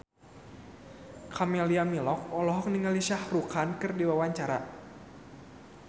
Camelia Malik olohok ningali Shah Rukh Khan keur diwawancara